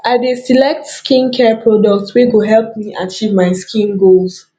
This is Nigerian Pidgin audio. i dey select skincare products wey go help me achieve my skin goals